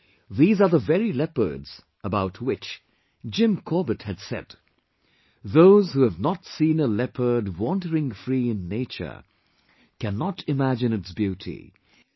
These are the very leopards about which Jim Corbett had said "Those who have not seen a leopard wandering free in nature, cannot imagine its beauty...